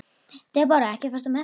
Debóra, ekki fórstu með þeim?